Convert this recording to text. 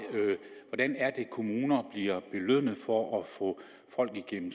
hvordan kommuner bliver belønnet for at få folk igennem